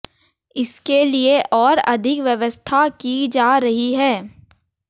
इसके लिए और अधिक व्यवस्था की जा रही है